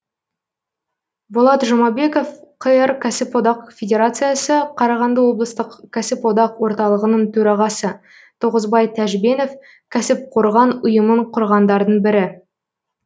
болат жұмабеков қр кәсіподақ федерациясы қарағанды облыстық кәсіподақ орталығының төрағасы тоғызбай тәжбенов кәсіпқорған ұйымын құрғандардың бірі